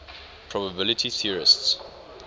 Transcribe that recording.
probability theorists